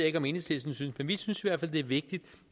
ikke om enhedslisten synes men vi synes i hvert fald det er vigtigt